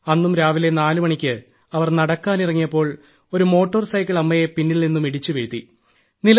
അന്നും രാവിലെ 4 മണിയ്ക്ക് അവർ നടക്കാനിറങ്ങിയപ്പോൾ ഒരു മോട്ടോർസൈക്കിൾ അമ്മയെ പിന്നിൽനിന്നും ഇടിച്ചുവീഴ്ത്തി